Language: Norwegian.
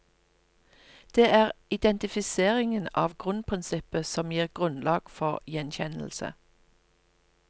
Det er identifiseringen av grunnprinsippet som gir grunnlag for gjenkjennelse.